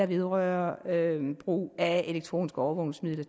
vedrørende brug af elektroniske overvågningsmidler